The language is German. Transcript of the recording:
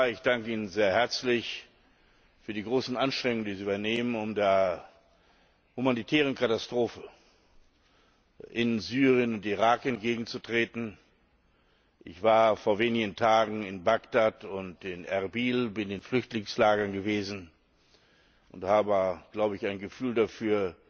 Herr Kommissar, ich danke Ihnen sehr herzlich für die großen Anstrengungen, die Sie unternehmen, um der humanitären Katastrophe in Syrien und Irak entgegenzutreten. Ich war vor wenigen Tagen in Bagdad und in Erbil, bin in Flüchtlingslagern gewesen und habe, glaube ich, ein Gefühl dafür,